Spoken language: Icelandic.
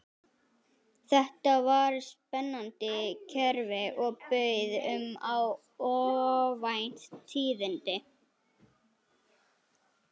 Þetta var spennandi kerfi og bauð upp á óvænt tíðindi.